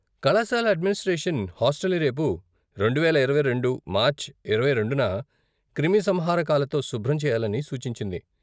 కళాశాల అడ్మినిస్ట్రేషన్ హాస్టల్ని రేపు, రెండువేల ఇరవై రెండు, మార్చి ఇరవై రెండున, క్రిమిసంహారకాలతో శుభ్రం చేయాలని సూచించింది.